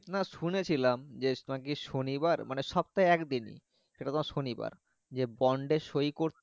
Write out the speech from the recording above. না শুনেছিলাম যে নাকি শনিবার সপ্তাহে এক দিনই সেটা তোমার শনিবার যে বন্ডে সহি করতে।